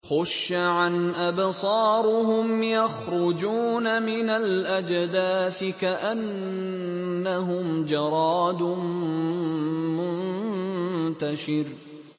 خُشَّعًا أَبْصَارُهُمْ يَخْرُجُونَ مِنَ الْأَجْدَاثِ كَأَنَّهُمْ جَرَادٌ مُّنتَشِرٌ